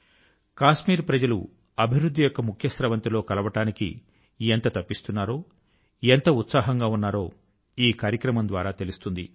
కశ్మీరు ప్రజలు అభివృద్ధి యొక్క ముఖ్య స్రవంతి లో కలవడానికి ఎంత తపిస్తున్నారో ఎంత ఉత్సాహంగా ఉన్నారో ఈ కార్యక్రమం ద్వారా తెలుస్తుంది